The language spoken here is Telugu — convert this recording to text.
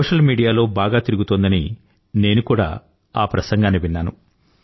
సోషల్ మీడియాలో బాగా తిరుగుతోందని నేను కూడా ఆ ప్రసంగాన్ని విన్నాను